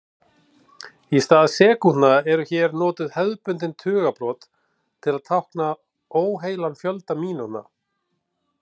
Í stað sekúndna eru hér notuð hefðbundin tugabrot til að tákna óheilan fjölda mínútna.